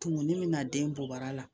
Tumu ni mina den bɔ bara la